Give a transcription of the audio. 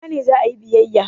A ina ne za a yi biyayya?